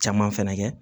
Caman fɛnɛ kɛ